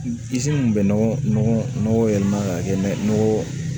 min bɛ nɔgɔ yɛlɛma ka kɛ nɔgɔ